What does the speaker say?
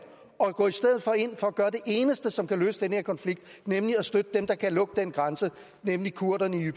og gå i stedet for ind for at gøre det eneste som kan løse den her konflikt nemlig at støtte dem der kan lukke den grænse nemlig kurderne